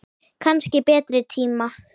Kannski betri tíma.